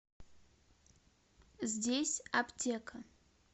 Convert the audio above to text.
здесь аптека